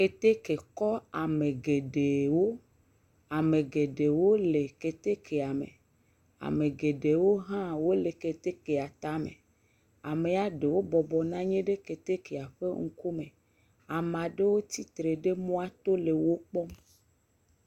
Keteke kɔ ame geɖewo. Ame geɖewo le ketekea me. Ame geɖewo hã wole ketekea tame. Amea ɖewo bɔbɔ nɔ anyi ɖe ketekea ƒe ŋkume. Ame aɖewo tsi tre ɖe mɔa to le wokpɔm.